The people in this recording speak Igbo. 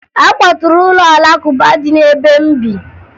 A kwaturu ụlọ Alakụba dị n'ebe m bi